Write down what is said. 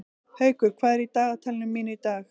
Haukur, hvað er í dagatalinu mínu í dag?